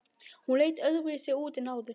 Hún leit öðruvísi út en áður.